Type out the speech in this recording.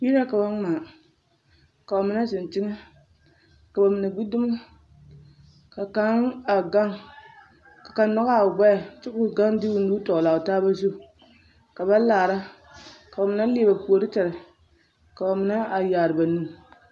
Yiri la k'a ba ŋmaa, ka bamine zeŋ teŋɛ ka bamine gbi dumo, ka kaŋ a gaŋ ka kaŋ nɔgaa o gbɛɛ kyɛ k'o gaŋ de o nu tɔgelaa o taaba zu ka ba laara ka bamine leɛ ba puoriŋ tere ka bamine a yaare ba nu.